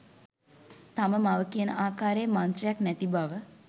තම මව කියන ආකාරයේ මන්ත්‍රයක් නැති බව.